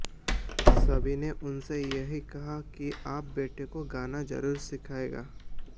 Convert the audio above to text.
सभी ने उनसे यही कहा कि आप बेटे को गाना जरूर सिखाइएगा